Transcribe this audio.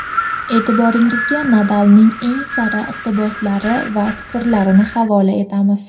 E’tiboringizga Nadalning eng sara iqtiboslari va fikrlarini havola etamiz.